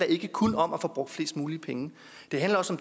ikke kun om at få brugt flest mulige penge det handler også